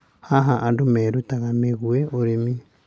Haha andũ merutaga megiĩ ũrĩmi.